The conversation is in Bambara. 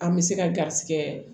An bɛ se ka garizigɛ